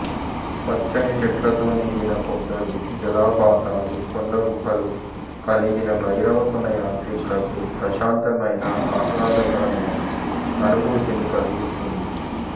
పచ్చని చెట్లతో నిండిన కొండలు జలపాతాలు కొండ గుహలు కలిగిన భైరవకొన యాత్రికులకు ప్రశాంతమైన ఆహ్లాదకరమైన అనుభూతిని కలిగిస్తుంది